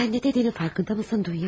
Sən də dediyinin fərqindəmisən, Dunya?